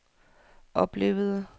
oplevede